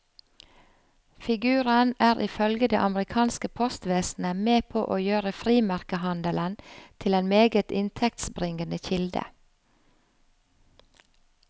Figuren er ifølge det amerikanske postvesenet med på å gjøre frimerkehandelen til en meget inntektsbringende kilde.